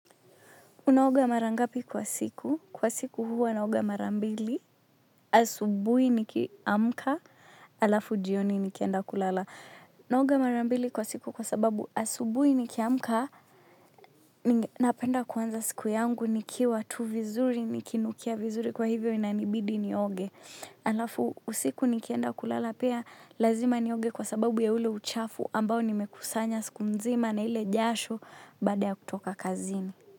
Unaoga mara ngapi kwa siku? Kwa siku huwa naoga mara mbili, asubuhi nikiamka, halafu jioni nikienda kulala. Naoga mara mbili kwa siku kwa sababu asubuhi nikiamka, napenda kuanza siku yangu nikiwa tu vizuri, nikinukia vizuri, kwa hivyo inanibidi nioge. Halafu usiku nikienda kulala pia, lazima nioge kwa sababu ya ule uchafu ambao nimekusanya siku nzima na ile jasho baada ya kutoka kazini.